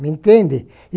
Me entende?